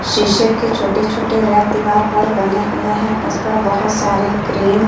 शीशे के छोटे-छोटे रैक दीवार पर बने हुए हैं उसपर बहुत सारे क्रीम --